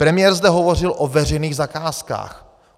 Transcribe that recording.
Premiér zde hovořil o veřejných zakázkách.